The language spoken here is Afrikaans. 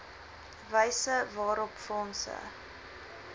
wyse waarop fondse